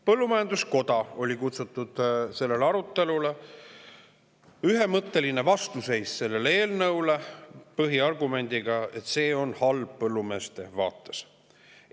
Põllumajanduskoda oli kutsutud sellele arutelule ja nad seisid ühemõtteliselt selle eelnõu vastu põhiargumendiga, et see on põllumeeste vaates halb.